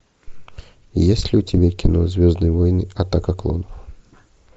есть ли у тебя кино звездные войны атака клонов